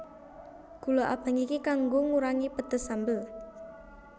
Gula abang iki kanggo ngurangi pedes sambel